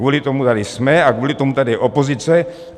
Kvůli tomu tady jsme a kvůli tomu tady je opozice.